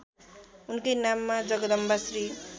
उनकै नाममा जगदम्बाश्री